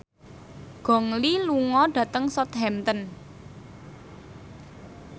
Gong Li lunga dhateng Southampton